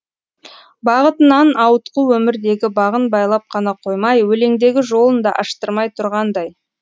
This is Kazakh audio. бағытынан ауытқу өмірдегі бағын байлап ғана қоймай өлеңдегі жолын да аштырмай тұрғандай